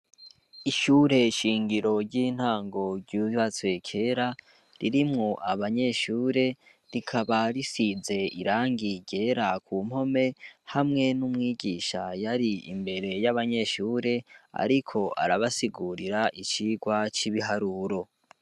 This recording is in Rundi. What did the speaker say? Ishyure shingiro ry'intango ryuyatswe kera ririmwo abanyeshure rikabarisize irangigera ku mpome hamwe n'umwigisha yari imbere y'abanyeshure, ariko arabasigurira icirwa c'ibiharuro.